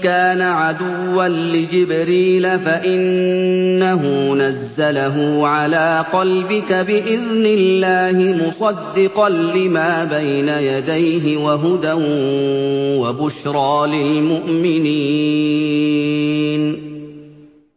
كَانَ عَدُوًّا لِّجِبْرِيلَ فَإِنَّهُ نَزَّلَهُ عَلَىٰ قَلْبِكَ بِإِذْنِ اللَّهِ مُصَدِّقًا لِّمَا بَيْنَ يَدَيْهِ وَهُدًى وَبُشْرَىٰ لِلْمُؤْمِنِينَ